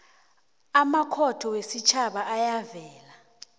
amakhotho wesitjhaba ayavela